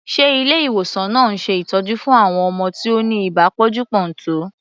Ṣe Ilé ìwòsàn náà ń ṣe ìtọ́jú fún àwọn ọmọ tí ó ni ibà pọ́njú-pọ́ntọ̀?